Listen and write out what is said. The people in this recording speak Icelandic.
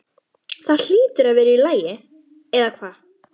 Það hlýtur að vera í lagi, eða hvað?